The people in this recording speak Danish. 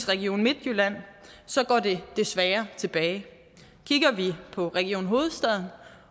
region midtjylland går det desværre tilbage kigger vi på region hovedstaden